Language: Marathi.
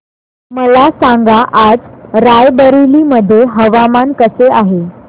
मला सांगा आज राय बरेली मध्ये हवामान कसे आहे